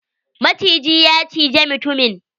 Maciji ya cije mutumin.